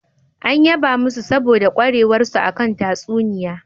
An yaba masu saboda ƙwarewarsa a kan tatsuniya.